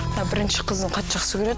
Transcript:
мына бірінші қызын қатты жақсы көреді